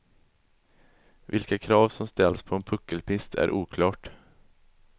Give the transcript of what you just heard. Vilka krav som ställs på en puckelpist är oklart.